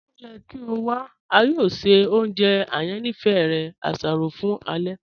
O yẹ kí o wà, a yọọ ṣẹ ọ̀njẹ ayànífẹ̀ rẹ; àṣárọ̀ fún ẹlẹ̀.